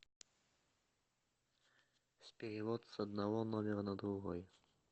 перевод с одного номера на другой